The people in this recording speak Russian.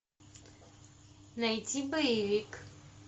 найти боевик